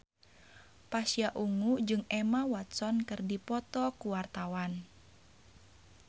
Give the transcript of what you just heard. Pasha Ungu jeung Emma Watson keur dipoto ku wartawan